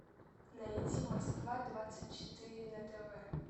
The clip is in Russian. найти москва двадцать четыре на тв